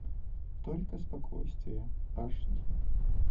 только спокойствие аш ди